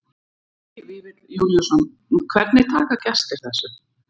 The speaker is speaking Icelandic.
Helgi Vífill Júlíusson: Hvernig taka gestir þessu?